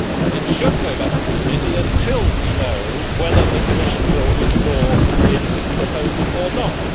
It should go back to the committee until we know whether the Commission will withdraw its proposal or not.